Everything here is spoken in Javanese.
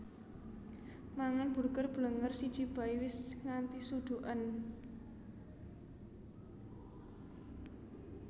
Mangan Burger Blenger siji bae wis nganti suduken